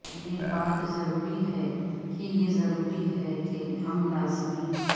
یہ بات ضروری ہے کہ یہ ضروری ہے کہ ہمیں لازمی ہے